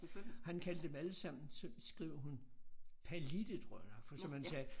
Han kaldte dem alle sammen så skriver hun Pallitte tror jeg nok for som han sagde